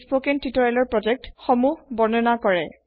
ই spoken তিওতৰিয়েলৰ project সমোহ বৰ্ণনা কৰে